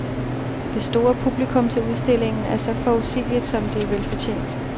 Det store publikum til udstillingen er så forudsigeligt, som det er velfortjent.